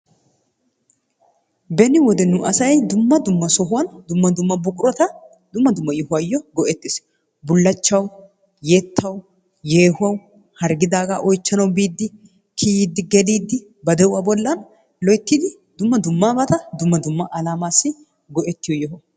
Beni wode nu asay dumma dumma sohuwan dumma dumma buqurata dumma dumma yohuwaayoo go'ettees. bulachchawu,,yettawu, yehuwawu, harggidaagaa oychchanawu biidi kiyiidi geliidi ba de'uwaa bolan loyttidi dummabata dumma dumma alaamassi go'ettiyo yo'o.